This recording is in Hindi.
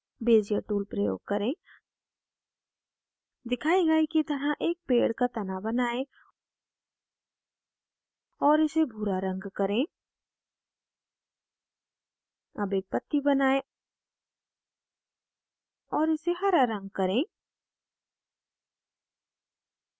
bezier tool प्रयोग करें दिखाए गए की तरह एक पेड़ का now बनाएं और इसे भूरा रंग करें अब एक पत्ती बनाएं और इसे हरा रंग करें